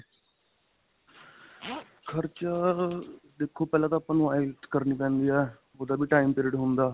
ਖਰਚਾ ਅਅ ਦੇਖੋ ਪਹਿਲਾਂ ਤਾਂ ਆਪਾਂ ਨੂੰ IELTS ਕਰਨੀ ਪੈਂਦੀ ਹੈ. ਓਹਦਾ ਵੀ time period ਹੁੰਦਾ.